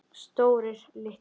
Stórir, litlir.